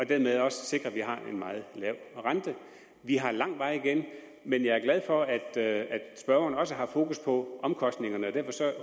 dermed også sikrer at vi har en meget lav rente vi har lang vej igen men jeg er glad for at spørgeren også har fokus på omkostningerne derfor